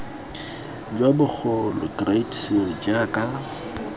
jo bogolo great seal jaaka